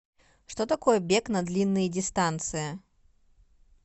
что такое бег на длинные дистанции